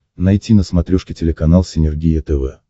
найти на смотрешке телеканал синергия тв